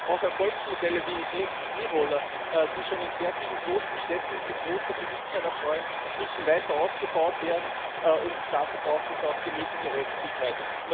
Auch Erfolgsmodelle wie E Roller, die sich schon in sehr vielen großen Städten großer Beliebtheit erfreuen, müssen weiter ausgebaut werden, und dazu braucht es auch die nötige Rechtssicherheit.